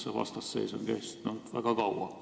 See vastasseis on kestnud väga kaua.